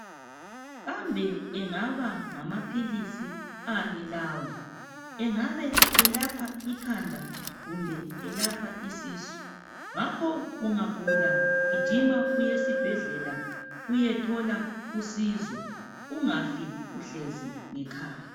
Kambe engaba ngamaphilisi ani lawa? Engabe elapha ikhanda kumbe isisu, ngakho ungagula gijima uye esibhedlela uyethola usizo ungafi uhlezi ngekhaya.